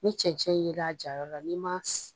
Ni cɛncɛn ye la a jayɔrɔ la n'i ma